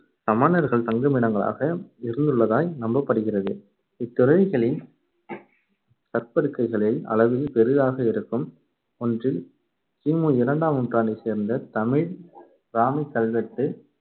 சமணர்கள் தங்குமிடங்களாக இருந்துள்ளதாய் நம்பப்படுகிறது. இத்துறவிகளின் கற்படுக்கைகளில் அளவில் பெரிதாக இருக்கும் ஒன்றில் கி முஇரண்டாம் நூற்றாண்டைச் சேர்ந்த தமிழ் பிராமிக் கல்வெட்டு